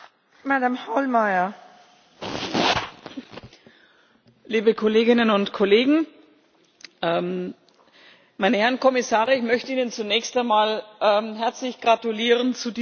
Frau Präsidentin, liebe Kolleginnen und Kollegen! Meine Herren Kommissare, ich möchte Ihnen zunächst einmal herzlich gratulieren zu diesem Vorschlag.